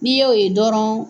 N'i ye o ye dɔrɔn